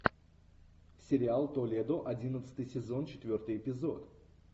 сериал толедо одиннадцатый сезон четвертый эпизод